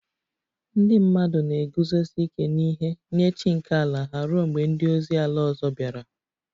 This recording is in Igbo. Ndị mmadụ na-eguzosi ike n'ihe nye chi nke ala ha ruo mgbe ndị ozi ala ọzọ bịara